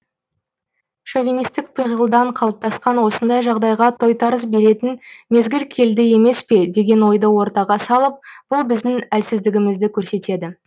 шовинистік пиғылдан қалыптасқан осындай жағдайға тойтарыс беретін мезгіл келді емес пе деген ойды ортаға салып бұл біздің әлсіздігімізді көрсетеді